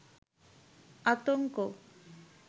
আতংক